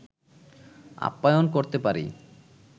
আপ্যায়ন করতে পারি